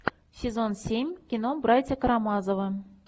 сезон семь кино братья карамазовы